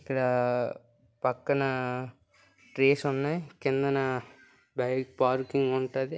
ఇక్కడా పక్కనా ట్రీస్ ఉన్నయ్. కిందనా బైక్ పార్కింగ్ ఉంటది.